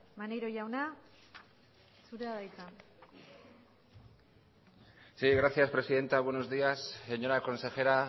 maneiro jauna zurea da hitza sí gracias presidenta buenos días señora consejera